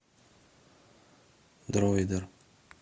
дроидер